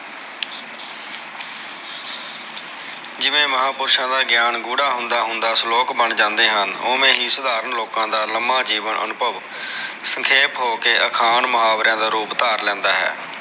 ਜਿਵੇ ਮਹਾਪੁਰਸ਼ਾ ਦਾ ਗਿਆਨ ਗੂੜਾ ਹੁੰਦਾ ਹੁੰਦਾ ਸ਼ਲੋਕ ਬਣ ਜਾਂਦੇ ਹਨ ਓਵੇ ਹੀ ਸਧਾਰਨ ਲੋਕਾ ਦਾ ਲਮਾ ਜੀਵਨ ਅਨੁਭਵ ਸਖੇਪ ਹੋ ਕੇ ਅਖਾਣ ਮੁਹਾਵਰਿਆ ਦਾ ਰੂਪ ਧਾਰ ਲੈਂਦਾ ਹੈ